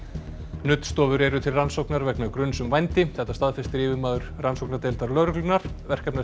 nuddstofur eru til rannsóknar vegna gruns um vændi þetta staðfestir yfirmaður rannsóknardeildar lögreglunnar